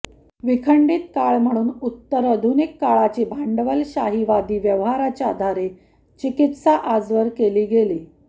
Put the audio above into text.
विखंडित काळ म्हणुन उत्तर आधुनिक काळाची भांडवलशाहीवादी व्यवहाराच्या आधारे चिकित्सा आजवर केली गेली